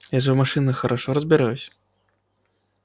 я же в машинах хорошо разбираюсь